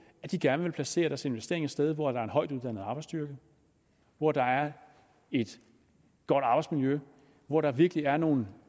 at de gerne vil placere deres investeringer et sted hvor der er højtuddannet arbejdsstyrke hvor der er et godt arbejdsmiljø hvor der virkelig er nogle